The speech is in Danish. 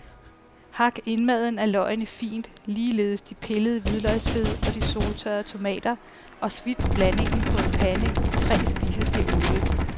Hak indmaden af løgene fint, ligeledes de pillede hvidløgsfed og de soltørrede tomater og svits blandingen på en pande i tre spiseske olie.